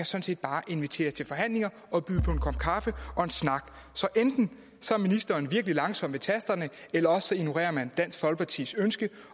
set bare invitere til forhandlinger og byde på en kop kaffe og en snak så enten er ministeren virkelig langsom ved tasterne eller også ignorerer man dansk folkepartis ønske